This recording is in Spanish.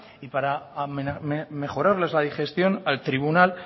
y para mejorarles la digestión al tribunal